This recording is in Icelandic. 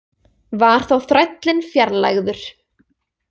Var þá þrællinn fjarlægður.